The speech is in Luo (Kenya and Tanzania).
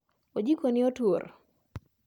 Ojiko ni otur